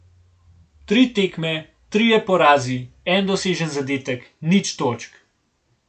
Tri tekme, trije porazi, en dosežen zadetek, nič točk.